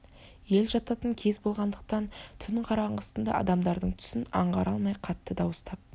ел жататын кез болғандықтан түн қараңғысында адамдардың түсін аңғара алмай қатты дауыстап